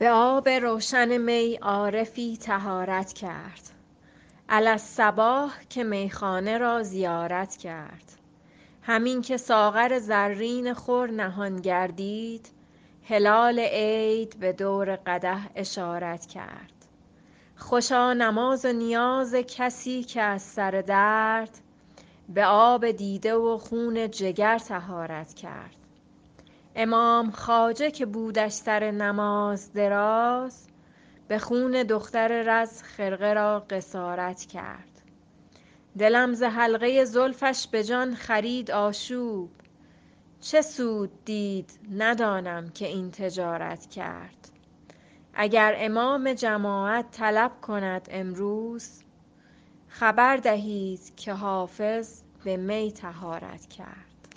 به آب روشن می عارفی طهارت کرد علی الصباح که میخانه را زیارت کرد همین که ساغر زرین خور نهان گردید هلال عید به دور قدح اشارت کرد خوشا نماز و نیاز کسی که از سر درد به آب دیده و خون جگر طهارت کرد امام خواجه که بودش سر نماز دراز به خون دختر رز خرقه را قصارت کرد دلم ز حلقه زلفش به جان خرید آشوب چه سود دید ندانم که این تجارت کرد اگر امام جماعت طلب کند امروز خبر دهید که حافظ به می طهارت کرد